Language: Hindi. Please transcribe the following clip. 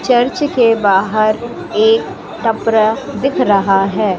चर्च के बाहर एक कपरा दिख रहा है।